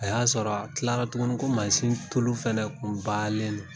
A y'a sɔrɔ a tilara tuguni ko mansin tulu fɛnɛ tun bannen don